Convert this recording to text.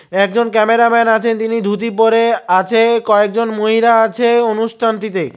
একজন ক্যামেরাম্যান আছেন তিনি ধুতি পরে আছে কয়েকজন মহিলা আছে অনুষ্ঠানটিতে।